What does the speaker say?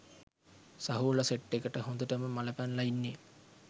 සහෝල set එකට හොඳටම මල පැනල ඉන්නෙ